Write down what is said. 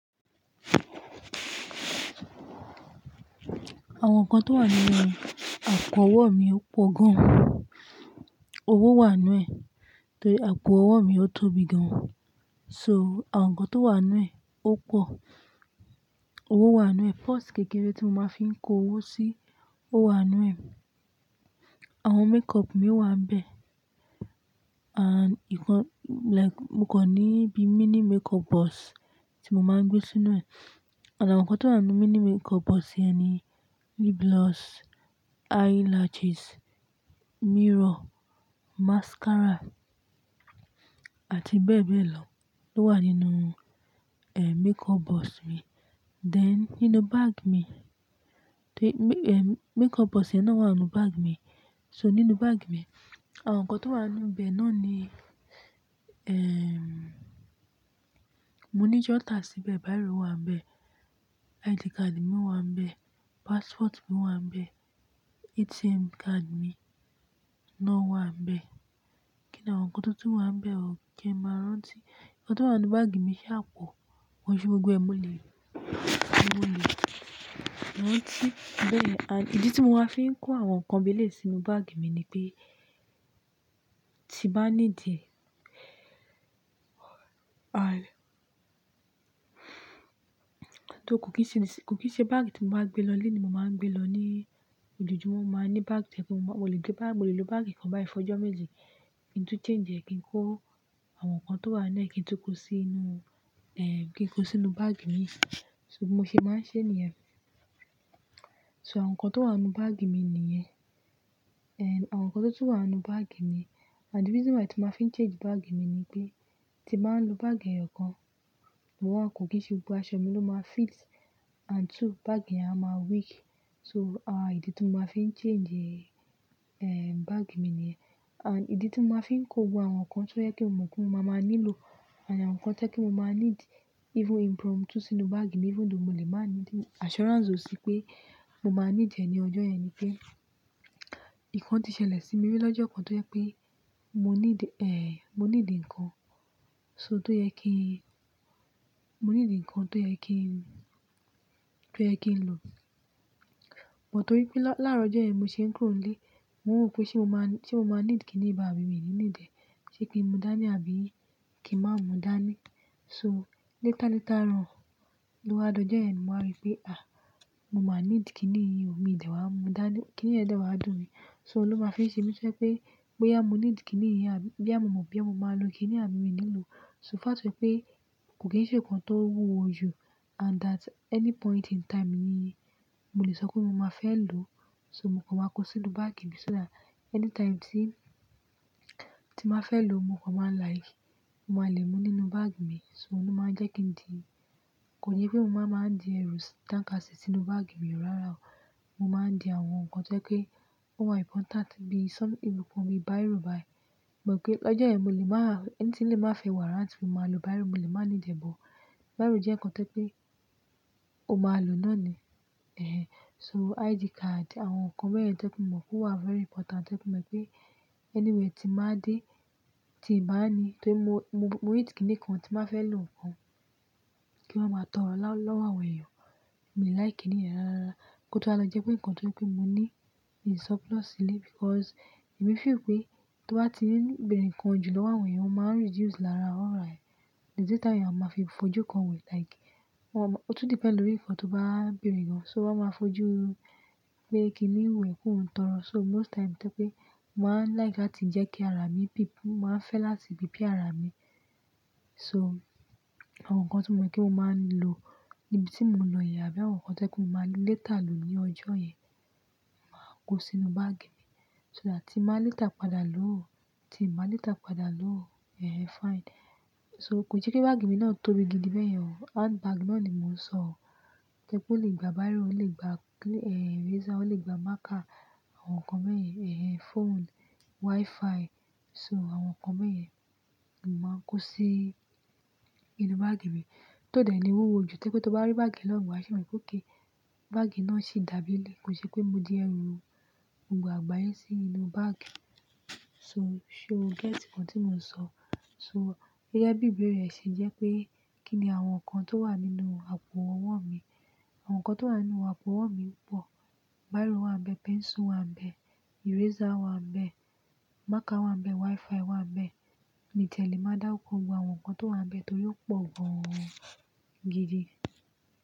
Àwọn nǹkan tó wà nínú àpò owó mi pọ̀ gan. Owó wà nínú ẹ̀ torí, àpò owó mi otóbi gan. So àwọn nǹkan tó wà nínú ẹ̀ ó pọ̀. Owó wà nínú ẹ̀. Purse kékeré tí mo máa ń fi kó owó sí o wà nu ẹ̀. Àwọn makeup mi wà nbe. And ìkan like mo kò ní bí mini makeup box tí mo máa ń gbé sínú ẹ̀. Àwọn nǹkan tó wà nínú mini makeup box yẹn ni lip gloss, eyelashes, mirror, mascara àti bẹ́ẹ̀ bẹ́ẹ̀ lọ, ló wà nínú eh makeup box mi. Then nínú bag mi, makeup box yẹn náà wà nínú bag mi. So nínú bag mi, àwọn nǹkan tó wà nínú bẹ náà ni ehm mo ní jotter síbẹ̀, bírò wà nbe, ID card mi wà nbe, passport mi wà nbe, ATM card mi náà wà nbe. Kí ni àwọn nǹkan tó tu wà nbe? Ki n máa rántí. Ǹkan tó wà nínú bag mi sa apọ̀. Ko n se gbogbo ẹmo lé, mo le. Rántí. Bẹ́ẹ̀ ni. And ìdí tí mo máa ń fi kó àwọn nǹkan bi ẹ́lẹ̀ sínú bag mi ni pé tí bá needi e ay tó kò kì í ṣe, kò kì í ṣe bag tí mo bá gbé lọlé ni mo máa ń gbé lọ ní ojojúmọ́. Mo máa ní bag tojepe mo le lo bag, mo le lo bag kan bai fojo méjì kí n tu change ẹ̀ kí n kó àwọn nǹkan tó wà nínú ẹ́ kí n tu kó sínú ẹ́, kí n kó sínú bag imi. So bi mo se máa ń ṣe ní ẹ. So àwọn nǹkan tó wà nínú bag mi nìyẹn. Eh àwọn nǹkan tó ti wà nínú bag mi and the reason why tí maa fi ń change bag mi ni pé tí ba ń lo bag ẹyo kan, one, kò kì í ṣe gbogbo aṣọ mi ló máa fit and two bag yẹn á máa weak. So àwọn ìdí tí mo máa ń fi change eh bag mi nìyẹn. And ìdí tí mo máa ń fi kó gbogbo àwọn nǹkan tó jepe mo mọ̀ pé mo máa máa nílò and àwọn nǹkan tí ẹ́ kí mo máa need even impromptu sínú bag mi even though mo lè máa need assurance ó sí pé mo máa need e ní ọjọ́ yẹn ni pé nkan ti ṣẹlẹ̀ sí mi lójú ọjọ́ kan tó yẹ pé mo ní de eh mo ní di ǹkan so tó yẹ kí n-- mo ní di ǹkan tó yẹ kí n-- tó yẹ kí n lò. Bút torí pé láàárọ̀ ọjọ́ yẹn bi mo ṣe ń kúrò nílé, mo ro pé ṣé mo máa, ṣé mo máa need kíní bai àbí mi ní need e ṣé kí n mú dání àbí kí màá mú dání. So later, later on lódo jọ́ yẹn mo wa rí pé à mo máa need kíní yìí o mi de wa mu dani, kíní yẹn dẹ̀ wá dùn mi so ló máa fi ń ṣe mí toje pé bóyá mo need kíní àbí—bí a mo mọ̀ bóyá mo máa lo kíní àbí mi ní lo. So fact pé kò kì í ṣe nǹkan tó wúwo ju and that any point in time ni mo lè sọ pé mo máa fẹ́ lò. So mo kò máa kó sínú bag mi só that any time tí, tí màá fẹ́ lò mo kò máa like, mo máa lè mú nínú bag mi so ló máa ń jẹ́ kí n di-- kò yẹ pé mo máa ń di ẹrú tánká si sínú bag mi rárá o. Mo máa ń di àwọn nǹkan tí ẹ́ pé ó wà important bí some ìrúpọmi bírò báyìí. Mọ̀ pé lọ́jọ́ yẹn mo lè máa, ẹ́ní tí lè máa fẹ́ wàráǹtì mó máa lo bírò, mo lè máa ní need e gan. Bírò jẹ́ nǹkan tí ẹ́ pé o máa lò náà ni. Eh so ID card àwọn nǹkan bẹ́ẹ̀ yẹn tí ẹ́ pé mo mọ̀ pé ó wà very important tí ẹ́ pé mo mọ̀ pé anywhere tí màá dé, tí ì bá ní-- torí mo, mo hate kíní kan tí n ba fẹ́ lò nkan kí wa máa tọ̀rọ́ lọ́wọ́ àwọn eyan. Mi ò like ìníyẹn rárá. Ó tun wa lo jẹ́ pé nǹkan ti mo ní in surplus nile because èmi feel pé tó bá ti n bẹ̀rẹ̀ ǹkan jù lowo àwọn eyan, ó máa ń reduce lára aura e. Idi ta àwọn eyan a máa fi fojú kan wo like wọ́n a máa-- ó tu depend lórí nǹkan tó bá bẹ̀rẹ̀ gan. So wọ́n máa fojú pé kíní wo e pe o n tọ́rọ́ so most time tí ẹ́ pé màá like láti jẹ́ kí ara mi prep, màá fẹ́ láti prepare ara mi. So àwọn nǹkan tí mo mọ̀ pé mo máa ń lò níbi tí mo lọ yẹn àbí àwọn nǹkan tí ẹ́ pé mo máa lè later lò ní ọjọ́ yẹn, màá kó sínú bag mi. So that tí ba later padà lò ó, tí ì bá later padà lò ó, eh fine. So kò ṣe pé bag mi náà tóbi gidi bẹ́yẹn o. Handbag náà ni mò ń sọ o. Toje pé ó lè gba bírò, ó lè gba eh eraser, ó lè gba marker àwọn nǹkan bẹ́ẹ̀ yẹn, eh phone, wi-Fi. So àwọn nǹkan bẹ́ẹ̀ yẹn ni mò ń kó sí inú bag mi. Tó dẹ̀ ni wúwo ju toje pé tó bá rí bag lọ́wọ́ wa fi mo pe okay—bag náà sì dàbí ilé. Kò ṣe pé mo di ẹrú gbogbo àgbáyé sí inú bag. So, so you get nǹkan tí mò ń sọ? So gẹ́gẹ́ bí ìbéèrè yen ṣe jẹ́ pé kí ni àwọn nǹkan tó wà nínú àpò owó mi. Àwọn nǹkan tó wà nínú àpò owó mi pọ̀. Bírò wà nbe, pencil wà nbe, eraser wà nbe, marker wà nbe, wi-Fi wà nbe. Mi tiele máa dáruko gbogbo àwọn nǹkan tó wà nbe torí ó pọ̀ gan gidi.